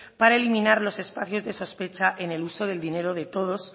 para eliminar los espacios de sospecha en el uso del dinero de todos